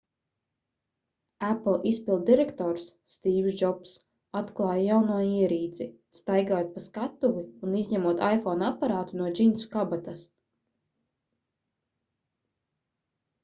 apple izpilddirektors stīvs džobss atklāja jauno ierīci staigājot pa skatuvi un izņemot iphone aparātu no džinsu kabatas